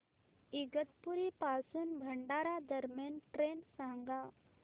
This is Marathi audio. इगतपुरी पासून भंडारा दरम्यान ट्रेन सांगा